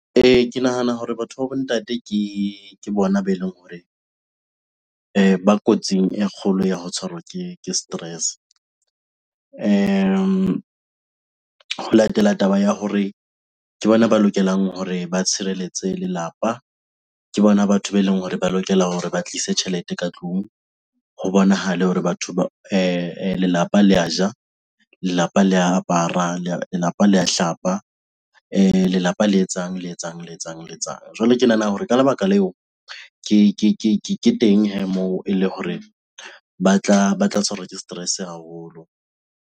Ee, ke nahana hore batho ba bo ntate ke bona be leng hore ba kotsing e kgolo ya ho tshwarwa ke stress-e. Ho latela taba ya hore ke bona ba lokelang hore ba tshireletse lelapa, ke bona batho be leng hore ba lokela hore ba tlise tjhelete ka tlung ho bonahale hore batho, lelapa le a ja, lelapa le apara, lelapa le a hlapa, lelapa le etsang le etsang le etsang le etsang. Jwale ke nahana hore ka lebaka leo ke teng hee moo eleng hore ba tla tshwarwa ke stress-e haholo.